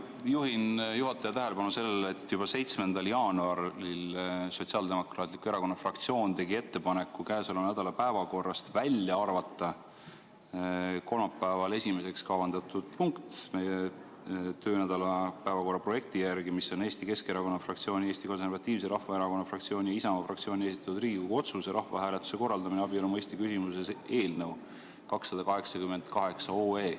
Ma juhin juhataja tähelepanu sellele, et juba 7. jaanuaril tegi Sotsiaaldemokraatliku Erakonna fraktsioon ettepaneku arvata käesoleva nädala päevakorrast välja meie töönädala päevakorra projekti järgi kolmapäeval esimeseks kavandatud punkt, mis on Eesti Keskerakonna fraktsiooni, Eesti Konservatiivse Rahvaerakonna fraktsiooni ja Isamaa fraktsiooni esitatud Riigikogu otsuse "Rahvahääletuse korraldamine abielu mõiste küsimuses" eelnõu 288.